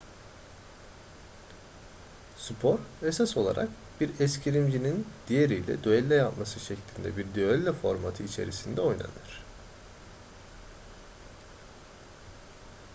spor esas olarak bir eskrimcinin diğeriyle düello yapması şeklinde bir düello formatı içerisinde oynanır